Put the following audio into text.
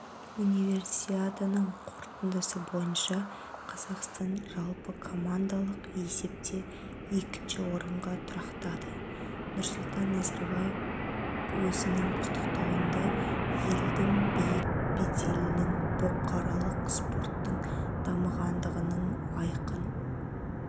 универсиаданың қорытындысы бойынша қазақстан жалпыкомандалық есепте екінші орынға тұрақтады нұрсұлтан назарбаев өзінің құттықтауында елдің биік беделінің бұқаралық спорттың дамығандығының айқын